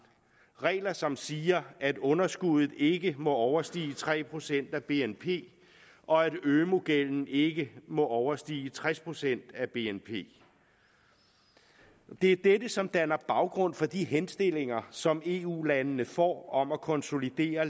regler som siger at underskuddet ikke må overstige tre procent af bnp og at ømu gælden ikke må overstige tres procent af bnp det er dette som danner baggrund for de henstillinger som eu landene får om at konsolidere